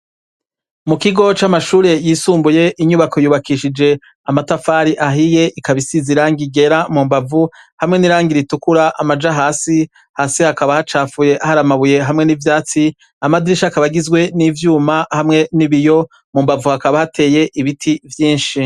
Mu kigo camashure yisumbuye inyubako yubakishije amatafari ahiye ikaba isize Irangi ryera mumbavu hamwe nirangi ritukura amaja hasi hakaba hacafuye hasi hari amabuye hamwe n'ivyatsi, amadirisha akaba agizwe nivyuma hamwe nibiyo mumbavu hakaba hateye ibiti vyinshi.